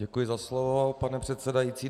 Děkuji za slovo, pane předsedající.